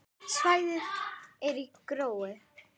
Svæðið er gróið.